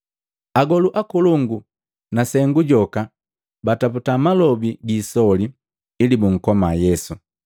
Agolu akolongu na sengu joka bataputa malobi gi isoli ili bunkoma Yesu,